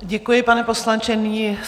Děkuji, pane poslanče.